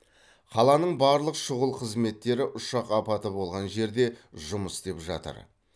қаланың барлық шұғыл қызметтері ұшақ апаты болған жерде жұмыс істеп жатыр